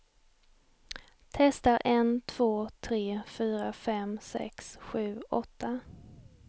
Testar en två tre fyra fem sex sju åtta.